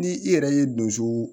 Ni i yɛrɛ ye donso